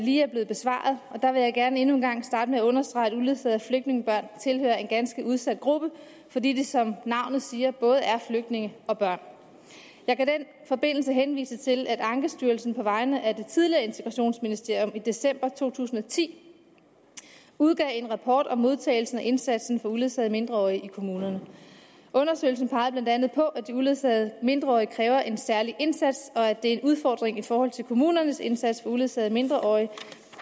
lige er blevet besvaret jeg vil gerne endnu en gang starte med at understrege at uledsagede flygtningebørn tilhører en ganske udsat gruppe fordi det som navnet siger både er flygtninge og børn jeg kan i den forbindelse henvise til at ankestyrelsen på vegne af det tidligere integrationsministerium i december to tusind og ti udgav en rapport om modtagelsen af og indsatsen over for uledsagede mindreårige i kommunerne undersøgelsen peger blandt andet på at de uledsagede mindreårige kræver en særlig indsats og at det er en udfordring i forhold til kommunernes indsats for uledsagede mindreårige